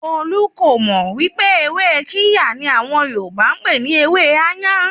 Kolu kò mọ̀ wípé ewé Kirya ni àwọn Yorùbá n pè ní ewẹ́ "áyàn".